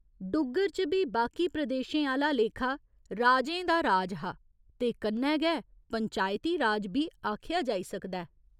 डुग्गर च बी बाकी प्रदेशें आह्‌ला लेखा राजें दा राज हा ते कन्नै गै पंचायती राज बी आखेआ जाई सकदा ऐ।